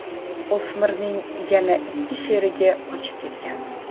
O‘smirning yana ikki sherigi qochib ketgan.